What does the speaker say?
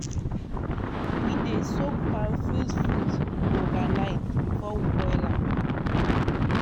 we dey soak palm fruit fruit overnight before we boil am.